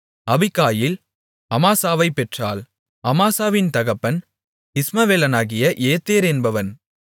Abigail அமாசாவைப் பெற்றாள் அமாசாவின் தகப்பன் இஸ்மவேலனாகிய ஏத்தேர் என்பவன்